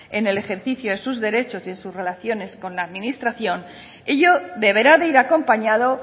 en el ejercicio de sus derechos y de sus relaciones con la administración ello deberá de ir acompañado